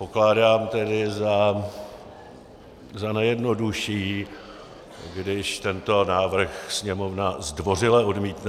Pokládám tedy za nejjednodušší, když tento návrh Sněmovna zdvořile odmítne.